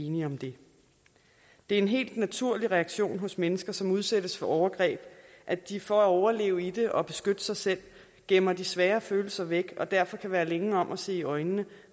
enige om det det er en helt naturlig reaktion hos mennesker som udsættes for overgreb at de for at overleve i det og beskytte sig selv gemmer de svære følelser væk og derfor kan være længe om at se i øjnene